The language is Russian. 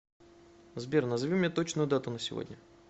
сбер назови мне точную дату на сегодня